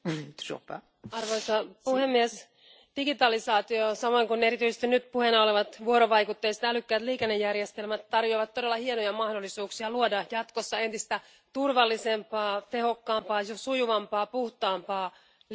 Arvoisa puhemies, digitalisaatio samoin kuin erityisesti nyt puheena olevat vuorovaikutteiset älykkäät liikennejärjestelmät tarjoavat todella hienoja mahdollisuuksia luoda jatkossa entistä turvallisempaa, tehokkaampaa, sujuvampaa ja puhtaampaa liikennettä.